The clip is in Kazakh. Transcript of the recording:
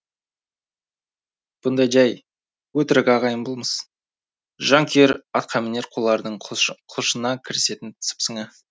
бұндай жай өтірік ағайын болмыс жан күйер атқамінер қулардың құлшына кірісетін сыпсыңы